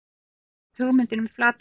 Þar birtist hugmyndin um flatarmál.